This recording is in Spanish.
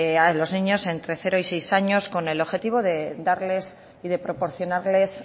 en los niños entre cero y seis años con el objetivo de darles y de proporcionarles